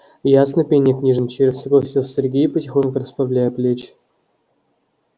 ясный пень не книжный червь согласился сергей потихоньку расправляя плечи